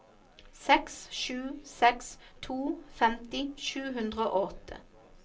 seks sju seks to femti sju hundre og åtte